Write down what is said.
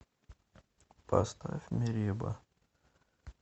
поставь мереба